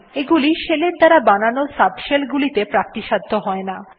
এগুলি শেলের দ্বারা বানানো সাবশেল গুলিতে প্রাপ্তিসাধ্য হয় না